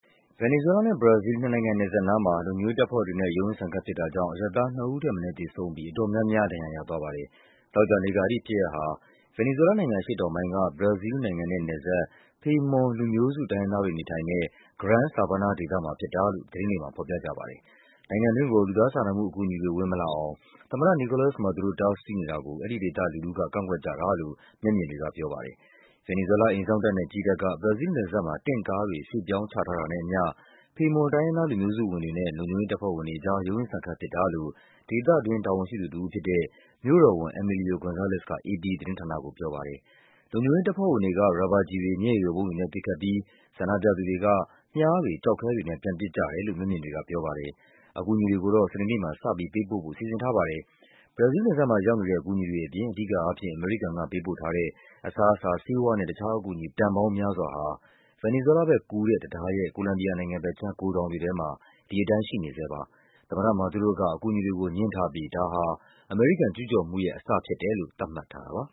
ဗင်နီဇွဲလားနဲ့ ဘရာဇီးလ် နှစ်နိုင်ငံနယ်စပ်နားမှာ လုံခြုံရေးတပ်ဖွဲ့တွေနဲ့ ရုန်းရင်းဆန်ခတ် ဖြစ်တာကြောင့် အရပ်သား နှစ်ဦးထက် မနည်း သေဆုံးပြီး အတော်များများ ဒဏ်ရာရ သွားပါတယ်။ သောကြာနေ့က အဲဒီဖြစ်ရပ်ဟာ ဗင်နီဇွဲလားနိုင်ငံ အရှေ့တောင်ပိုင်းက ဘရာဇီးလ်နိုင်ငံနဲ့ နယ်စပ် Pemon လူမျိုးစုတိုင်းရင်းသား တွေ နေထိုင်တဲ့ Gran Sabana ဒေသမှာ ဖြစ်တာ လို့ သတင်းတွေမှာ ဖော်ပြကြပါတယ်။ နိုင်ငံတွင်းကို လူသားစာနာမှုအကူအညီတွေ ဝင်မလာအောင် သမ္မတ Nicolas Maduro တားဆီးနေတာကို အဲဒီဒေသလူထုက ကန့်ကွက်ကြတာလို့ မျက်မြင်တွေကပြောပါတယ်။ ဗင်နီဇွဲလား အိမ်စောင့်တပ်နဲ့ ကြည်းတပ်က ဘရာဇီးလ်နယ်စပ်မှာ တင့်ကားတွေ ရွှေ့ပြောင်းချထားတာနဲ့အမျှ Pemon တိုင်းရင်း သား လူမျိုးစုဝင်တွေနဲ့ လုံခြုံရေးတပ်ဖွဲ့ ဝင်တွေကြား ရုန်းရင်းဆန်ခတ်ဖြစ်တာလို့ ဒေသတွင်း တာဝန်ရှိသူတဦးဖြစ်တဲ့ မြို့တော်ဝန် Emilio Gonzalez က အေပီသတင်းဌာနကို ပြောပါတယ်။ လုံခြုံရေးတပ်ဖွဲ့ဝင်တွေက ရာဘာကျည်တွေ၊ မျက်ရည်ယိုဗုံးတွေနဲ့ ပစ်ခတ်ပြီး ဆန္ဒပြသူတွေက မြားတွေ၊ ကျောက်ခဲတွေနဲ့ ပြန်ပစ် ကြတယ်လို့ မျက်မြင်တွေကပြောပါတယ်။ အကူအညီတွေကို စနေနေ့မှာ စပြီးပေးပို့ဖို့ စီစဉ်ထားပါတယ်။ ဘရာဇီးလ်နယ်စပ်မှာ ရောက်နေတဲ့ အကူအညီတွေအပြင် အဓိကအားဖြင့် အမေရိကန်ကပေးပို့တဲ့ အစားအစာ၊ ဆေးဝါးနဲ့ တခြားအကူအညီ တန်ပေါင်းများစွာဟာ ဗင်နီဇွဲလားဘက်ကူးတဲ့ တံတား ရဲ့ ကိုလမ်ဘီယာနိုင်ငံဘက်ခြမ်း ဂိုဒေါင်တွေထဲမှာ ဒီတိုင်းရှိနေဆဲဖြစ်ပါတယ်။ သမ္မတ Maduro က အကူအညီတွေကိုငြင်းထားပြီး ဒါကို အမေရိကန်ကျူးကျော်မှုရဲ့ အစအဖြစ် သတ်မှတ်ထားတာပါ